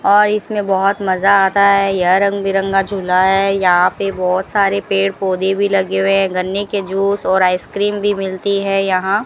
और इसमें बहोत मजा आता है यह रंग बिरंगा झूला है यहां पे बहोत सारे पेड़ पौधे भी लगे हुए हैं गन्ने के जूस और आइसक्रीम भी मिलती है यहां --